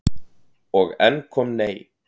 Og enn kom nei.